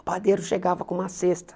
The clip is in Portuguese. O padeiro chegava com uma cesta.